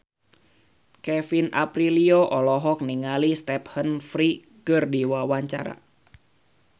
Kevin Aprilio olohok ningali Stephen Fry keur diwawancara